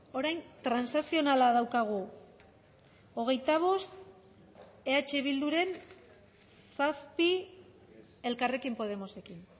orain transakzionala daukagu hogeita bost eh bilduren zazpi elkarrekin podemosekin